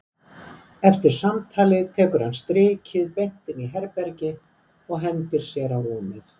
Eftir samtalið tekur hann strikið beint inn í herbergi og hendir sér á rúmið.